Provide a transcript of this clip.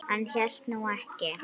Hann hélt nú ekki.